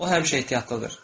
O həmişə ehtiyatlıdır.